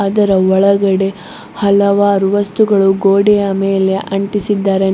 ಇದರ ಒಳಗಡೆ ಹಲವಾರು ವಸ್ತುಗಳು ಗೋಡೆಯ ಮೇಲೆ ಅಂಟಿಸಿದ್ದಾರೆ.